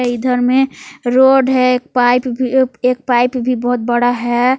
इधर में रोड है एक पाइप एक पाइप भी बहुत बड़ा है।